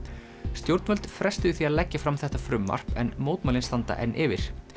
stjórnvöld frestuðu því að leggja fram þetta frumvarp en mótmælin standa enn yfir